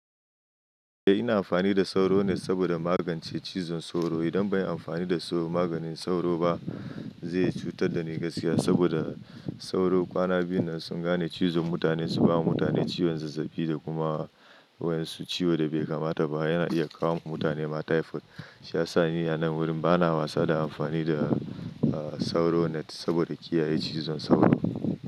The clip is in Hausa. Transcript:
Eh ina amfani da sauro net saboda magance cizon sauro. Idan ban yi amfani da maganin sauro ba zai cutar da ni gaskiya. Saboda sauro kwana biyu na sun gane cizon mutane su ba mutane ciwon zazzabi da kuma waƴan su ciwo da bai kamata ba. Yana iya kawo wa mutane ma typhoid. Shi ya sa ni a nan wurin bana wasa da amfani da sauro net saboda kiyaye cizon sauro.